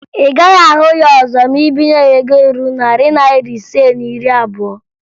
Ị gaghị ahụ ya ọzọ ma ị binye ya ego ruru narị naịra ise na iri abụo